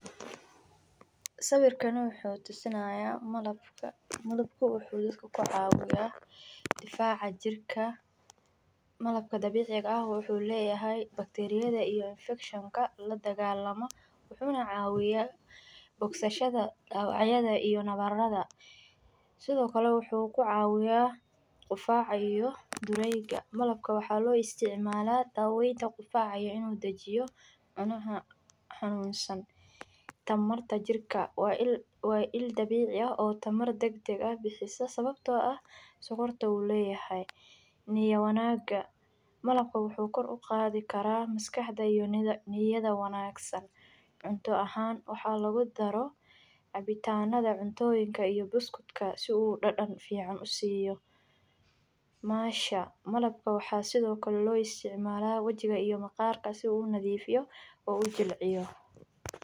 Sawirkani wuxuu tusinaya maabka, malabka wuxu dadka ku cawiya difaca jirka malabka dabiciga eh wuxuu leyahay bakteriyada iyo elfekshinka la dagalamo waxaa wya bogsashada dawacyada iyo nawaraada sithokale wuxuu ku cawiya qufaca iyo difaca, marabka waxaa lo isticmala dawenta qufaca iyo in u dajiyo cunaha xanun san tamarta jirka waa il dabici ah oo bixisa sawabto ah sugurta wu leyahay niya wanaga malabka wuxuu kor uqadhi karaa maskaxda iyo niyaada wanagsan cunto ahan waxa lagu daro cabitanadha cuntoyinka iyo buskudka si u dadan fican usiyo mansha malabka waxaa sithokale lo isticmala iyo maqarka si u unadhifiyo oo u ujilciyo.